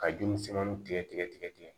Ka ji misɛmaninw tigɛ tigɛ